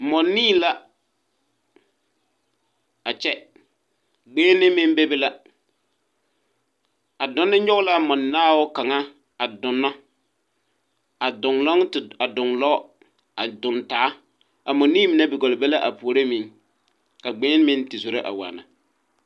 Mͻnii la a kyԑ. Gbeŋini meŋ bebe la. A donne nyͻge la a mͻdonne a donͻ, a donͻŋ te a donlͻͻ a doŋ taa. mͻnii mine gͻlle be la a puoriŋ ka gbeŋini meŋ te zoro a waana.